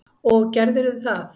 Og gerðirðu það?